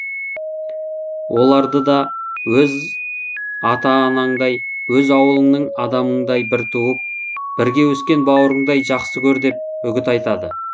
оларды да өз ата анаңдай өз ауылыңның адамындай бір туып бірге өскен бауырыңдай жақсы көр деп үгіт айтады